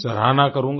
सराहना करूँगा